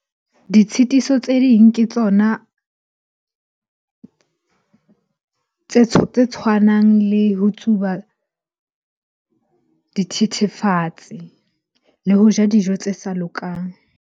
Ditshitiso tse ding ke tsona tse tshwanang le ho tsuba dithethefatsi le ho ja dijo tse sa lokang.